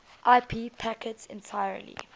ip packets entirely